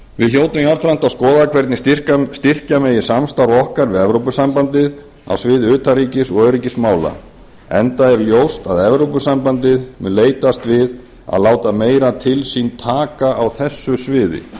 hljótum jafnframt að skoða hvernig styrkja megi samstarf okkar við evrópusambandið á sviði utanríkis og öryggismála enda er ljóst að evrópusambandið mun leitast við að láta meira til sín taka á þessu sviði